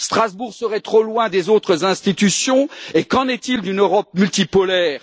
Strasbourg serait trop loin des autres institutions? Qu'en est il d'une Europe multipolaire?